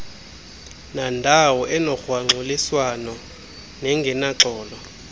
nandawo enogrwangxuliswano nengenaxolo